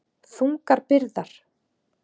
Þungar byrðar.